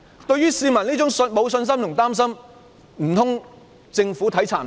對於市民沒有信心和擔心，難道政府未能體察嗎？